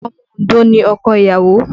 Omo Ondo ni ọkọ ìyàwó